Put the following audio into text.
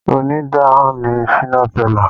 Onídán ni Shina Pellar